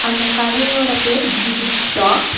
அந்த கடையோட பேரு தி பிக் ஷாப் .